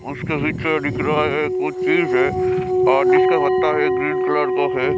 उसके पीछे दिख रहा है कुछ चीज है और जिसका पत्ता है ग्रीन कलर का है।